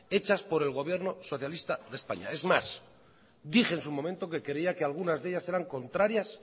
hechas por el gobierno socialista de españa es más dije en su momento que creía que algunas de ellas eran contrarias